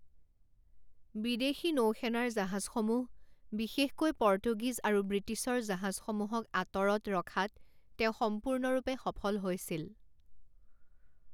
বিদেশী নৌসেনাৰ জাহাজসমূহ, বিশেষকৈ পৰ্তুগীজ আৰু ব্ৰিটিছৰ জাহাজসমূহক আঁতৰত ৰখাত তেওঁ সম্পূৰ্ণৰূপে সফল হৈছিল।